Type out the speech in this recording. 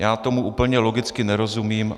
Já tomu úplně logicky nerozumím.